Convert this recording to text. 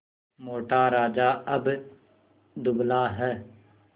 मोटा राजा अब दुबला है